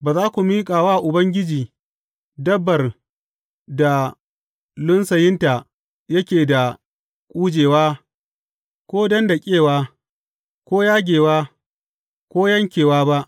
Ba za ku miƙa wa Ubangiji dabbar da lunsayinta yake da ƙujewa, ko dandaƙewa, ko yagewa, ko yankewa ba.